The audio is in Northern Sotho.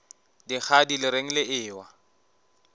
dikgadi le reng le ewa